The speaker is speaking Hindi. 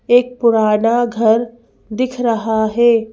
एक पुराना घर दिख रहा है।